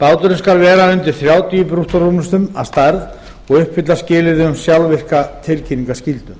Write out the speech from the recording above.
báturinn skal vera undir þrjátíu brúttórúmlestum að stærð og uppfylla skilyrði um sjálfvirka tilkynningarskyldu